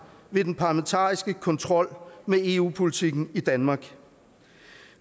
ved den parlamentariske kontrol med eu politikken i danmark